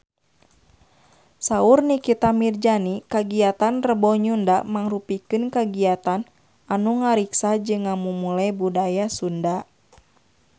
Saur Nikita Mirzani kagiatan Rebo Nyunda mangrupikeun kagiatan anu ngariksa jeung ngamumule budaya Sunda